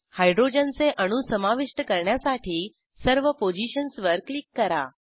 हायड्रोजनचे अणू समाविष्ट करण्यासाठी सर्व पोझिशन्सवर क्लिक करा